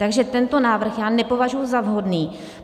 Takže tento návrh já nepovažuji za vhodný.